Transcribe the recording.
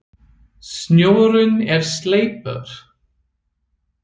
Snjórinn er sleipur!